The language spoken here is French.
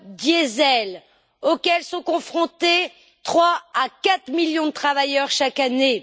diesel auxquelles sont confrontés trois à quatre millions de travailleurs chaque année.